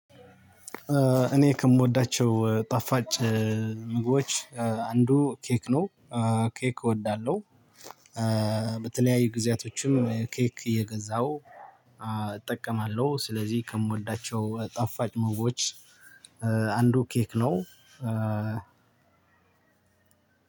እኔ ከምወዳቸው ጣፋጭ ምግቦች አንዱ ኬክ ነው። ኬክ እወዳለሁ። በተለያዩ ጊዜያቶችም ኬክ እየገዛሁ እጠቀማለሁ። ስለዚህ ከምወዳቸው ጣፋጭ ምግቦች አንዱ ኬክ ነው።